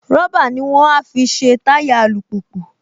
Rọ́bà ní wọ́n á fi ṣe táyà alùpùpù